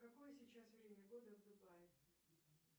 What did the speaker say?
какое сейчас время года в дубае